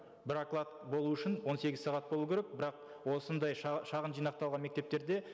бір оклад болу үшін он сегіз сағат болу керек бірақ осындай шағын жинақталған мектептерде